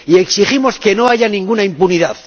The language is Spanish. Y exigimos que no haya ninguna impunidad.